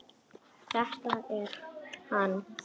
Þetta er hann.